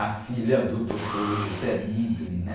A filha do doutor, né?